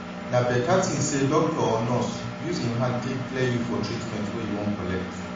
na beta thin say doctor or nurse use em hand take clear you for treatment wey you wan collect